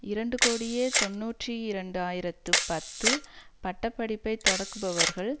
இரண்டு கோடியே தொன்னூற்றி இரண்டு ஆயிரத்து பத்து பட்ட படிப்பை தொடக்குபவர்கள்